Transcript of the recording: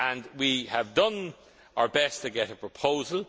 We have done our best to get a proposal.